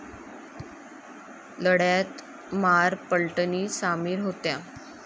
लढ्यात महार पलटणी सामील होत्या.